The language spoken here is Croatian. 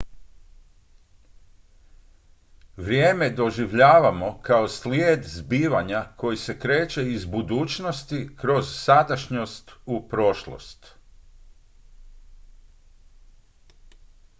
vrijeme doživljavamo kao slijed zbivanja koji se kreće iz budućnosti kroz sadašnjost u prošlost